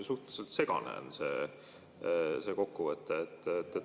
Suhteliselt segane on see kokkuvõte.